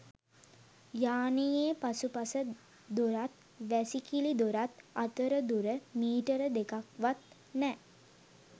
යානයේ පසුපස දොරත් වැසිකිළි දොරත් අතර දුර මීටර දෙකක්වත් නෑ.